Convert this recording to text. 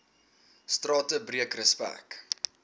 strate breek respek